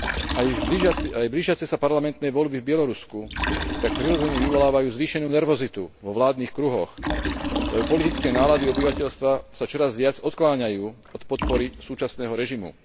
Aj blížiace sa parlamentné voľby v Bielorusku tak prirodzene vyvolávajú zvýšenú nervozitu vo vládnych kruhoch, lebo politické nálady obyvateľstva sa čoraz viac odkláňajú od podpory súčasného režimu.